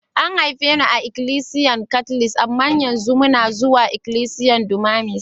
A'n haife ni a'ikilisiyan katlic, amma yanzu una zuwa ikilisiyan Dunamis.